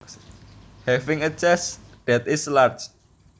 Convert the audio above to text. Having a chest that is large